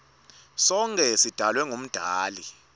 sonkhe sidalwe ngumdali